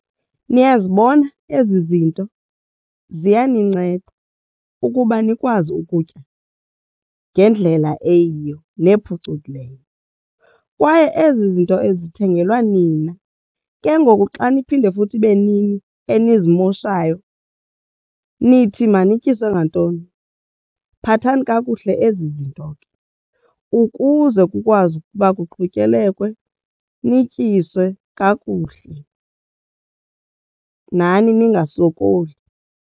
Niyazibona ezi zinto ziyaninceda ukuba nikwazi ukutya ngendlela eyiyo nephucukileyo kwaye ezi zinto ezithengelwa nina ke ngoku. Xa niphinde futhi ibe nini enizimoshayo nithi manityiswe ngantoni? Phathani kakuhle ezi zinto ke ukuze kukwazi ukuba kuqhutyekekwe nityiswe ke kakuhle nani ningasokoli.